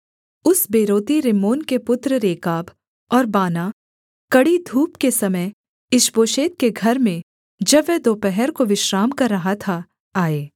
उस बेरोती रिम्मोन के पुत्र रेकाब और बानाह कड़ी धूप के समय ईशबोशेत के घर में जब वह दोपहर को विश्राम कर रहा था आए